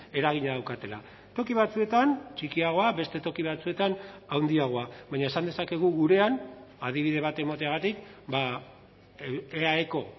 eragina daukatela toki batzuetan txikiagoa beste toki batzuetan handiagoa baina esan dezakegu gurean adibide bat emateagatik eaeko